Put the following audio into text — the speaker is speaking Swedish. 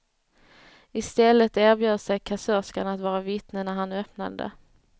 Istället erbjöd sig kassörskan att vara vittne när han öppnade det.